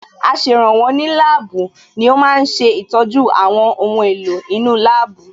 Aṣèrànwọ́ ní láàbù ni ó ma ń ṣe ìtọ́jú àwọn ohun èlò inú láàbù